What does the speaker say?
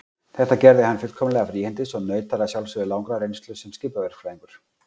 Þetta gerði hann fullkomlega fríhendis og naut þar að sjálfsögðu langrar reynslu sem skipaverkfræðingur.